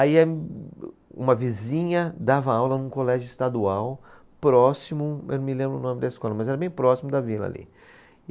Aí a, uma vizinha dava aula num colégio estadual próximo, eu não me lembro o nome da escola, mas era bem próximo da vila ali.